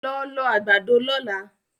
Lọ lọ àgbàdo lọ́la!